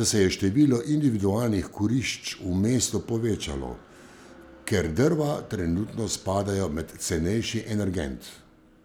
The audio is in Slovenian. da se je število individualnih kurišč v mestu povečalo, ker drva trenutno spadajo med cenejši energent.